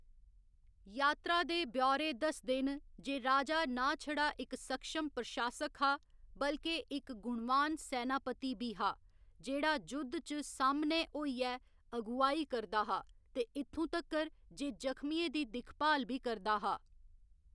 यात्रा दे ब्यौरे दसदे न जे राजा नां छड़ा इक सक्षम प्रशासक हा, बल्के इक गुणवान सैनापति बी हा, जेह्‌‌ड़ा जुद्ध च सामनै होइयै अगुवाई करदा हा ते इत्थूं तक्कर जे जख्मियें दी दिक्खभाल बी करदा हा।